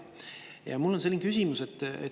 Ja mul on selline küsimus.